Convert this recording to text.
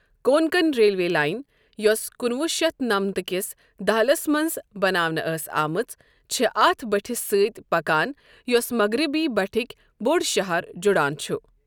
Konkan railway line, یوٚس کُنہٕ وُہ شتھ نمتھہٕ کِس دہلِس منٛز بناونہٕ ٲس آمٕژ چھِ اتھ بٔٹھِس سۭتۍ پکان یُس مغربی بٔٹھٕکۍ بٔڑ شہر جُڑان چھِ۔۔